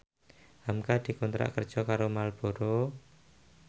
hamka dikontrak kerja karo Marlboro